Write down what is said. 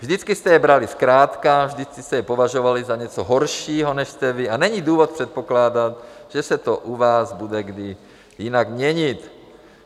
Vždycky jste je brali zkrátka, vždycky jste je považovali za něco horšího, než jste vy, a není důvod předpokládat, že se to u vás bude kdy jinak měnit.